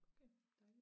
Okay dejligt